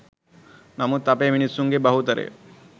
නමුත් අපේ මිනිසුන්ගෙ බහුතරය